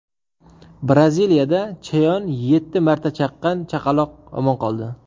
Braziliyada chayon yetti marta chaqqan chaqaloq omon qoldi.